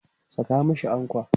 Saka mashi ankwa!